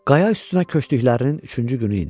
Qaya üstünə köçdüklərinin üçüncü günü idi.